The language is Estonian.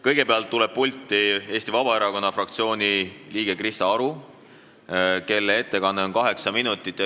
Kõigepealt tuleb pulti Eesti Vabaerakonna fraktsiooni liige Krista Aru, kelle ettekanne on 8 minutit.